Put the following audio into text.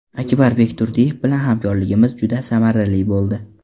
Akbar Bekturdiyev bilan hamkorligimiz juda samarali bo‘ldi.